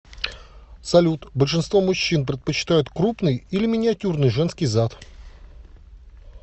салют большинство мужчин предпочитает крупный или миниатюрный женский зад